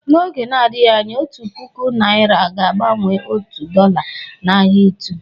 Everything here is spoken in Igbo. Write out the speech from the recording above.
N'oge nadịghị anya, otu puku naira ga-agbanwe otu dola n'ahia ịtụ